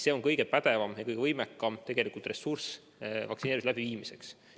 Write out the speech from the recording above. See on kõige pädevam ja kõige võimekam ressurss vaktsineerimise läbiviimiseks.